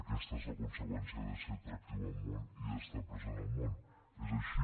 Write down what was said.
aquesta és la conseqüència de ser atractiu al món i d’estar present al món és així